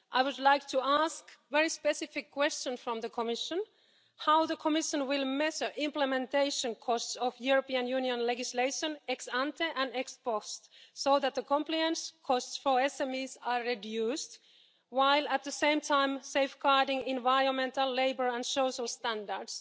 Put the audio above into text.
I would like to put a very specific question to the Commission how will the Commission measure implementation costs of European Union legislation ex ante and ex post so that the compliance costs for SMEs are reduced, while at the same time safeguarding environmental, labour and social standards?